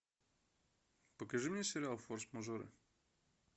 покажи мне сериал форс мажоры